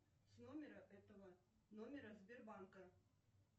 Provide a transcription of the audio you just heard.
с номера этого номера сбербанка